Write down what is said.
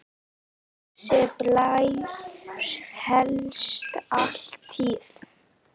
Þessi blær hélst alla tíð.